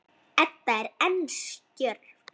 Edda er enn stjörf.